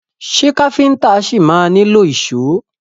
Ṣé káfíntà ṣi ma nílò ìṣó?